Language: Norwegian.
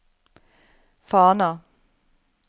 Fana